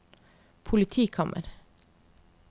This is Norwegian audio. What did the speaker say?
politikammer